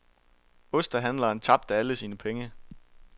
Ostehandleren tabte alle sine penge.